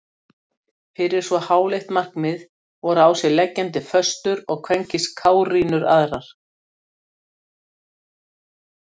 Fyrir svo háleitt markmið voru á sig leggjandi föstur og hverskyns kárínur aðrar.